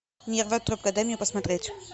нервотрепка дай мне посмотреть